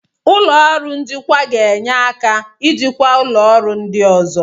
Ụlọ ọrụ njikwa ga-enye aka ijikwa ụlọ ọrụ ndị ọzọ.